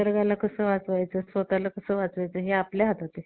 निसर्गाला कसं वाचवायचं स्वतःला कसं वाचवायचं हे आपल्या हातात आहे